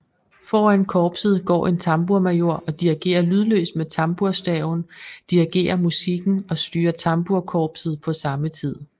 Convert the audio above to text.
Foran korpset går en tambourmajor og dirigerer lydløst med tambourstaven dirigerer musikken og styrer tamburkorpset på samme tid